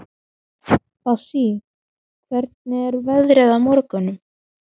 Bassí, hvernig er veðrið á morgun?